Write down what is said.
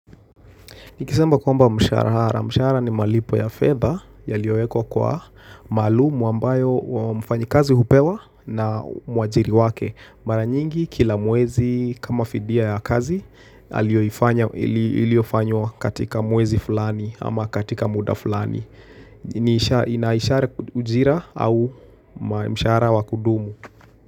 Nikisema kwamba mshahara. Mshahara ni malipo ya fedha yaliyoyekwa kwa maalum ambayo mfanyi kazi hupewa na mwajiri wake. Mara nyingi kila mwezi kama fidia ya kazi, iliofanywa katika mwezi fulani ama katika muda fulani. Inaishara ujira au mshahara wakudumu.